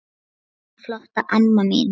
Elsku flotta amma mín.